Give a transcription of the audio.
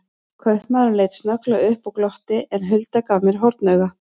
Kaupamaðurinn leit snögglega upp og glotti, en Hulda gaf mér hornauga.